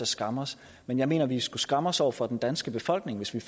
skamme os men jeg mener at vi skulle skamme os over for den danske befolkning hvis vi